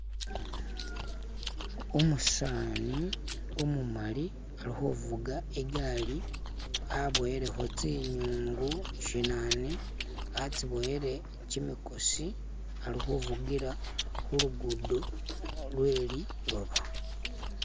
Umutsani umumali ali khuvuga igali avoyelekho tsinyungu shinana atsiboyele kyimikosi ali khuvugila khulugudo lwe lilooba